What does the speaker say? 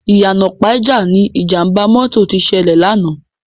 Iyana Ipaja ni Ijàmbá mòtó ti sèlè làná